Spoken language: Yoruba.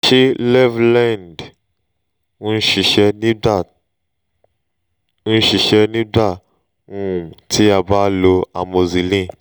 ṣe levlen-ed n ṣiṣẹ nigba n ṣiṣẹ nigba um ti a ba n lo amoxicillin?